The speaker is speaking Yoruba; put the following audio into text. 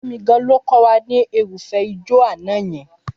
Fẹ́mi gan-an ló kọ́ wa ní irúfẹ́ ìjọ àná yẹn.